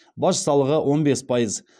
баж салығы он бес пайыз